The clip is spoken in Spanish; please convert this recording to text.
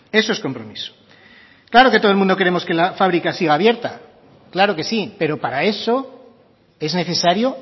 eso es compromiso claro que todo el mundo queremos que la fábrica siga abierta claro que sí pero para eso es necesario